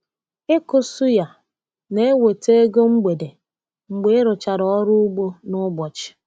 Ịkụ suya na-eweta ego mgbede mgbe ịrụchara ọrụ ugbo n’ụbọchị.